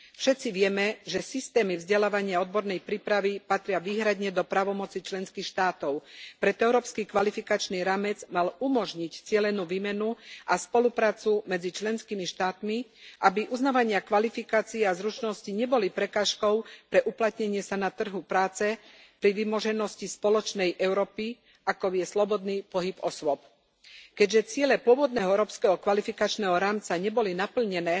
Všetci vieme, že systémy vzdelávania a odbornej prípravy patria výhradne do právomocí členských štátov, preto Európsky kvalifikačný rámec mal umožniť cielenú výmenu a spoluprácu medzi členskými štátmi, aby uznávania kvalifikácií a zručností neboli prekážkou pre uplatnenie sa na trhu práce pri vymoženosti spoločnej Európy, akou je slobodný pohyb osôb. Keďže ciele pôvodného Európskeho kvalifikačného rámca neboli naplnené,